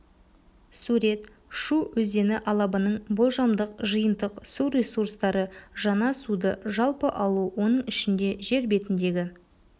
сурет шу өзені алабының болжамдық жиынтық су ресурстары жаңа суды жалпы алу оның ішінде жер бетіндегі